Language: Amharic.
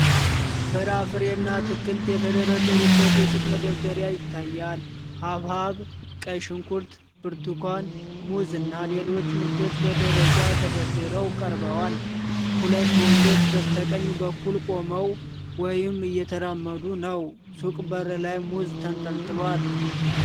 ፍራፍሬና አትክልቶች የተደረደሩበት የሱቅ መደርደሪያ ይታያል። ሐብሐብ፣ ቀይ ሽንኩርት፣ ብርቱካን፣ ሙዝ እና ሌሎች ምርቶች በደረጃ ተደርድረው ቀርበዋል። ሁለት ወንዶች በስተቀኝ በኩል ቆመው ወይም እየተራመዱ ነው። ሱቁ በር ላይ ሙዝ ተንጠልጥሏል።